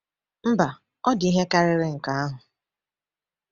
Mba, ọ dị ihe karịrị nke ahụ.